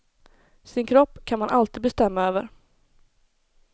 Sin kropp kan man alltid bestämma över.